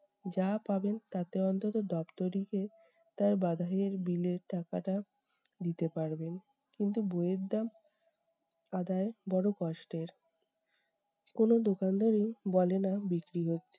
যা পাবেন তাতে অন্তঃত দপ্তরিকে তার বাঁধাইয়ের bill এর টাকাটা দিতে পারবেন। কিন্তু বইয়ের দাম আদায় বড়ো কষ্টের। কোনো দোকানদারই বলে না বিক্রি হচ্ছে।